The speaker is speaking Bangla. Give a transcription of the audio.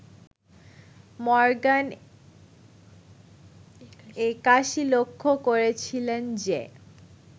মর্গান ৮১ লক্ষ্য করেছিলেন যে